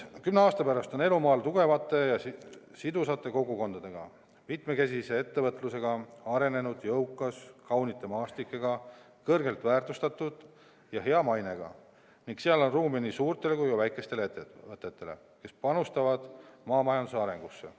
Kümne aasta pärast on elu maal tugevate ja sidusate kogukondadega, mitmekesise ettevõtlusega, arenenud, jõukas, kaunite maastikega, kõrgelt väärtustatud ja hea mainega ning seal on ruumi nii suurtele kui väikestele ettevõtetele, kes panustavad maamajanduse arengusse.